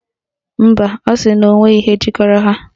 Mba, ọ sịrị na onweghi ihe jikọrọ ha